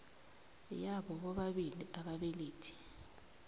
yabo bobabili ababelethi